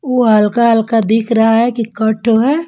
वो हल्का हल्का दिख रहा है कि कट है।